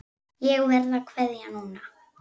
Ég verð að kveðja núna.